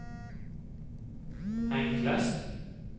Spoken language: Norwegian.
enklest